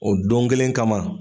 O don kelen kama